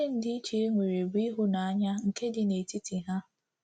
Oké ndịiche e nwere bụ ịhụnanya nke dị n’etiti ha.